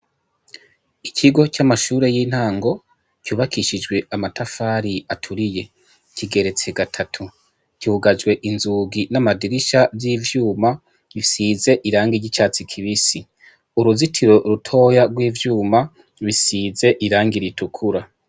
Ikigo c'amashure y'intango kyubakishijwe amatafari aturiye kigeretse gatatu kugajwe inzugi n'amadirisha vy'ivyuma gisize irange iry'icatsi kibisi uruzitiro rutoya rw'ivyuma bisize iranga ritukura.